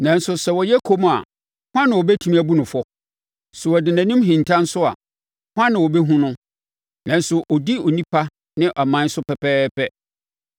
Nanso sɛ ɔyɛ komm a, hwan na ɔbɛtumi abu no fɔ? Sɛ ɔde nʼanim hinta nso a, hwan na ɔbɛhunu no? Nanso ɔdi onipa ne ɔman so pɛpɛɛpɛ,